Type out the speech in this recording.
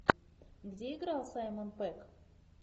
где играл саймон пегг